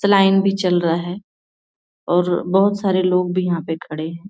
भी चल रहा है और बोहत सारे लोग भी यहाँ पे खड़े हैं।